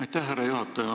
Aitäh, härra juhataja!